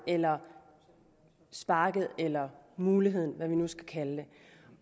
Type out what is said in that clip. eller sparket eller muligheden eller hvad vi nu skal kalde det